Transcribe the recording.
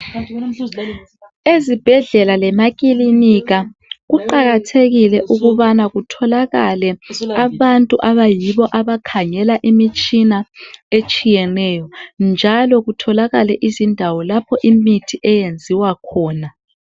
Ezibhedlela lemakilinika kuqakathekile ukubana kutholakale abantu abakhangela imitshina etshiyeneyo njalo kubelezindawo zokwenzela imithi.